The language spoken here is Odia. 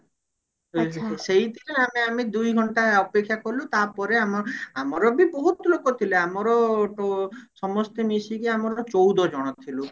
ସେଥିରେ ଆମେ ଆମେ ଦୁଇଘଣ୍ଟା ଅପେକ୍ଷା କଲୁ ତାପରେ ଆମ ଆମର ବି ବହୁତ ଲୋକ ଥିଲେ ଆମର ଟୋ ସମସ୍ତେ ମିଶିକି ଆମର ଚଉଦ ଜଣ ଥିଲୁ